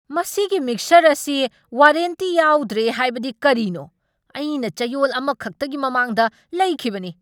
ꯃꯁꯤꯒꯤ ꯃꯤꯛꯁꯔ ꯑꯁꯤ ꯋꯥꯔꯦꯟꯇꯤ ꯌꯥꯎꯗ꯭ꯔꯦ ꯍꯥꯏꯕꯗꯤ ꯀꯔꯤꯅꯣ? ꯑꯩꯅ ꯆꯌꯣꯜ ꯑꯃꯈꯛꯇꯒꯤ ꯃꯃꯥꯡꯗ ꯂꯩꯈꯤꯕꯅꯤ!